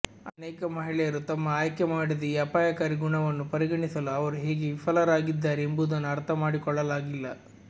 ಅನೇಕ ಮಹಿಳೆಯರು ತಮ್ಮ ಆಯ್ಕೆಮಾಡಿದ ಈ ಅಪಾಯಕಾರಿ ಗುಣವನ್ನು ಪರಿಗಣಿಸಲು ಅವರು ಹೇಗೆ ವಿಫಲರಾಗಿದ್ದಾರೆ ಎಂಬುದನ್ನು ಅರ್ಥಮಾಡಿಕೊಳ್ಳಲಾಗಿಲ್ಲ